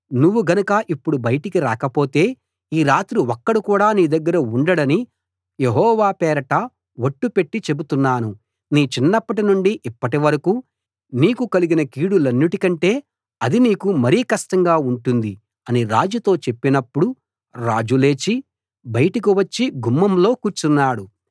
నువ్వు గనుక ఇప్పుడు బయటికి రాకపోతే ఈ రాత్రి ఒక్కడు కూడా నీ దగ్గర ఉండడని యెహోవా పేరట ఒట్టు పెట్టి చెబుతున్నాను నీ చిన్నప్పటినుండి ఇప్పటివరకూ నీకు కలిగిన కీడులన్నిటికంటే అది నీకు మరీ కష్టంగా ఉంటుంది అని రాజుతో చెప్పినప్పుడు రాజు లేచి బయటకు వచ్చి గుమ్మంలో కూర్చున్నాడు